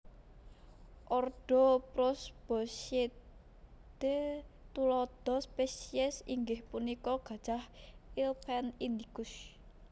Ordo Prosboscidae tuladha spesies inggih punika gajah elephant indicus